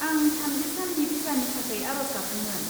आं थामजि साननि भिसानि थाखाय आरज गाबदोंमोन।